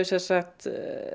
sem sagt